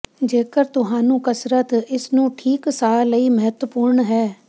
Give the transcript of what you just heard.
ਜੇਕਰ ਤੁਹਾਨੂੰ ਕਸਰਤ ਇਸ ਨੂੰ ਠੀਕ ਸਾਹ ਲਈ ਮਹੱਤਵਪੂਰਨ ਹੈ